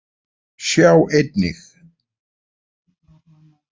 Sjá einnig: